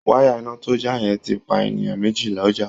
Wáyà iná tó já yẹn ti pa èèyàn mèjì lọ́jà